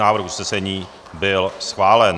Návrh usnesení byl schválen.